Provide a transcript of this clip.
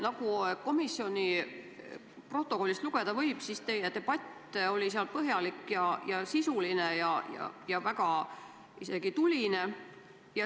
Nagu komisjoni protokollist lugeda võib, oli teie debatt seal põhjalik ja sisuline ja isegi väga tuline.